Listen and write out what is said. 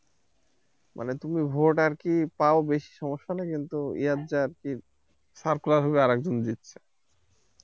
মানে তুমি vote আর কি পাও বেশি সমস্যা নাই ইয়াত যাই আরকি স্বাক্ষর হচ্ছে আরেক জনে দিচ্ছে